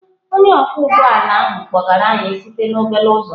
Onye ọkwọ ụgbọ ala ahụ kpọgara anyị site na obele uzọ.